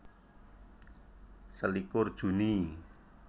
Selikur Juni